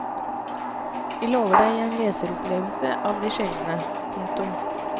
Vi lover deg en leseropplevelse av de sjeldne. punktum